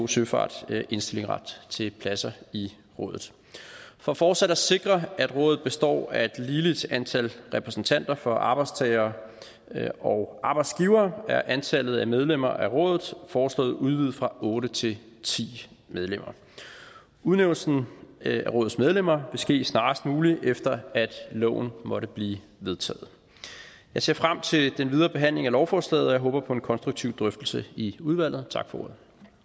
søfart indstillingsret til pladser i rådet for fortsat at sikre at rådet består af et ligeligt antal repræsentanter for arbejdstagere og arbejdsgivere er antallet af medlemmer af rådet foreslået udvidet fra otte til ti medlemmer udnævnelsen af rådets medlemmer vil ske snarest muligt efter at loven måtte blive vedtaget jeg ser frem til den videre behandling af lovforslaget og jeg håber på en konstruktiv drøftelse i udvalget tak for